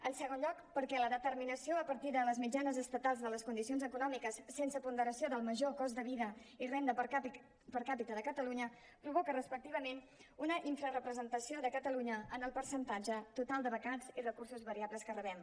en segon lloc perquè la determinació a partir de les mitjanes estatals de les condicions econòmiques sense ponderació del major cost de vida i renda per capita de catalunya provoca respectivament una infrarepresentació de catalunya en el percentatge total de becats i recursos variables que rebem